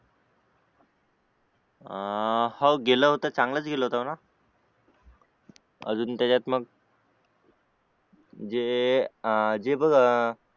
अं हाऊ गेला होता चांगलाच केला होता म्हणा अजून त्याच्यात मग जे अं